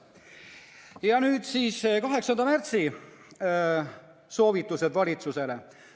Ja nüüd 8. märtsi soovitused valitsusele.